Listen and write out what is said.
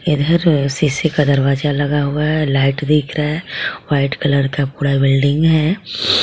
इधर शीशे का दरवाजा लगा हुआ है लाइट दिख रहा है व्हाइट कलर का पूरा बिल्डिंग है।